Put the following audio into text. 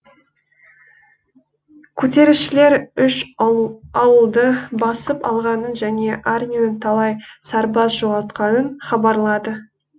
көтерілісшілер үш ауылды басып алғанын және армияның талай сарбаз жоғалтқанын хабарлады